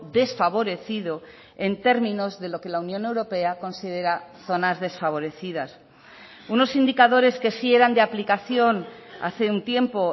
desfavorecido en términos de lo que la unión europea considera zonas desfavorecidas unos indicadores que sí eran de aplicación hace un tiempo